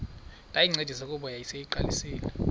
ndayincedisa kuba yayiseyiqalisile